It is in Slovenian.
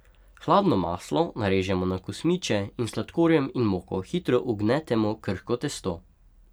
Hladno maslo narežemo na kosmiče in s sladkorjem in moko hitro ugnetemo krhko testo.